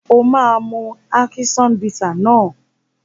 O máa mu ákíṣán bità náà.